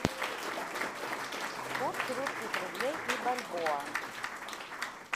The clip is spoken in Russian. курс русских рублей и бальбоа